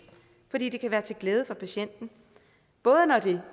for det kan være til glæde for patienten både når det